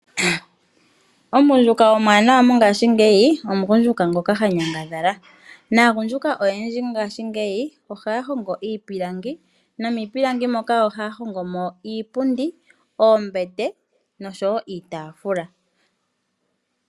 Omugundjuka omuwanawa mongashingeyi omugundjuka ngoka ha nyangadhala, naagundjuka oyendji ngaashingeyi ohaya hongo iipilangi nomiipilangi moka ohaya hongo mo iipundi ,oombete nosho wo iitafula.